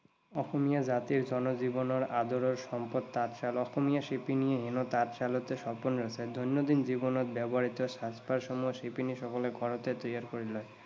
অসমীয়া জাতিৰ, জনজীৱনৰ আদৰৰ সম্পদ তাঁতশাল। অসমীয়া শিপিনীয়ে হেনো তাঁতশালতে সপোন ৰঁচে। দৈনন্দিন জীৱনত ব্যৱহৃত সাজ পাৰ সমূহ শিপিনী সকলে ঘৰতে তৈয়াৰ কৰি লয়।